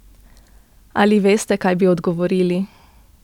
Ali veste, kaj bi odgovorili?